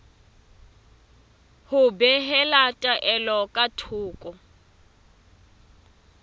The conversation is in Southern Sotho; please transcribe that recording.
ho behela taelo ka thoko